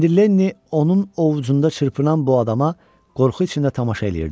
İndi Lenni onun ovucunda çırpınan bu adama qorxu içində tamaşa eləyirdi.